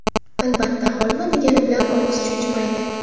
Albatta, holva degani bilan og‘iz chuchimaydi.